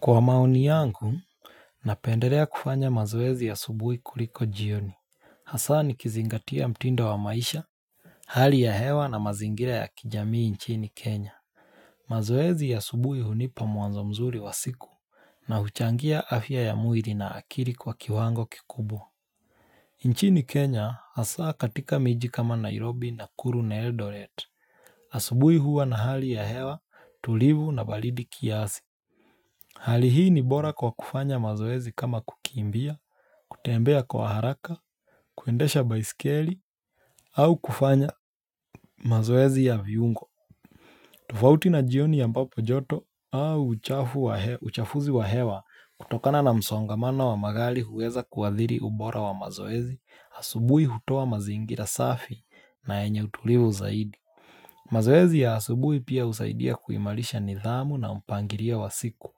Kwa maoni yangu, napenderea kufanya mazoezi ya asubuhi kuliko jioni. Hasa nikizingatia mtindo wa maisha, hali ya hewa na mazingira ya kijamii nchini Kenya. Mazoezi ya asubuhi hunipa mwanzo mzuri wa siku na huchangia afya ya mwiri na akiri kwa kiwango kikubwa. Nchini Kenya hasa katika miji kama Nairobi Nakuru na Eldoret. Asubuhi huwa na hali ya hewa tulivu na baridi kiasi. Hali hii ni bora kwa kufanya mazoezi kama kukimbia, kutembea kwa haraka, kuendesha baisikeli, au kufanya mazoezi ya viungo tofauti na jioni ambapo joto au uchafuzi wa hewa kutokana na msongamano wa magali huweza kuathiri ubora wa mazoezi Asubui hutoa mazingira safi na yenye utulivu zaidi mazoezi ya asubui pia husaidia kuimarisha nidhamu na mpangilio wa siku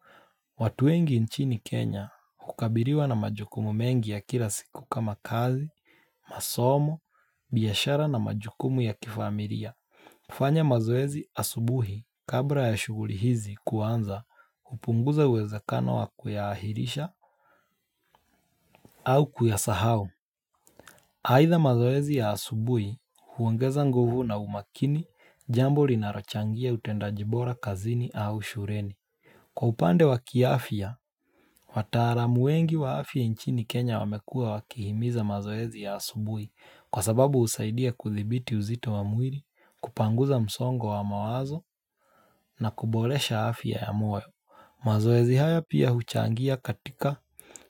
watu wengi nchini Kenya hukabiriwa na majukumu mengi ya kila siku kama kazi, masomo, biashara na majukumu ya kifamiria kufanya mazoezi asubuhi kabla ya shughuli hizi kuanza hupunguza uwezakano wa kuyaahirisha au kuyasahau Haidha mazoezi ya asubuhi huongeza nguvu na umakini jambo rinarochangia utendajibora kazini au shureni Kwa upande wa kiafya Wataaramu wengi wa afya nchini Kenya wamekuwa wakihimiza mazoezi ya asubui Kwa sababu husaidia kuthibiti uzito wa mwiri, kupanguza msongo wa mawazo na kubolesha afya ya moyo mazoezi haya pia huchangia katika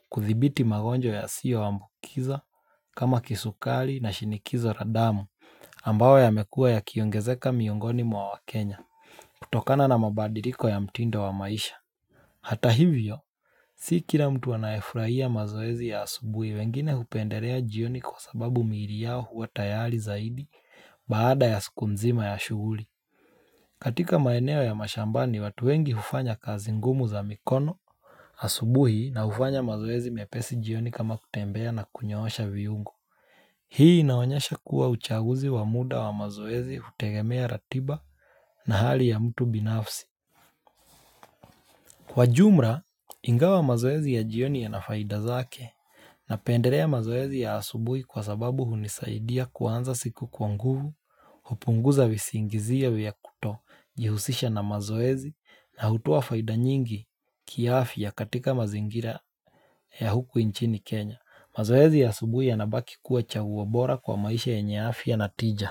kuthibiti magonjwa yasiyoambukiza kama kisukari na shinikizo la damu ambayo yamekuwa yakiongezeka miongoni mwa waKenya kutokana na mabadiliko ya mtindo wa maisha Hata hivyo Si kila mtu anayefurahia mazoezi ya asubuhi wengine hupenderea jioni kwa sababu miiri yao huwa tayari zaidi baada ya siku nzima ya shughuli. Katika maeneo ya mashambani watu wengi hufanya kazi ngumu za mikono asubuhi na hufanya mazoezi mepesi jioni kama kutembea na kunyoosha viungo. Hii inaonyesha kuwa uchaguzi wa muda wa mazoezi hutegemea ratiba na hali ya mtu binafsi. Kwa jumla, ingawa mazoezi ya jioni yana faida zake napendelea mazoezi ya asubui kwa sababu hunisaidia kuanza siku kwa nguvu, hupunguza visingizia vya kutojihusisha na mazoezi na hutoa faida nyingi kiafya katika mazingira ya huku nchini Kenya. Mazoezi ya asubui yanabaki kuwa chaguo bora kwa maisha yenye afya na tija.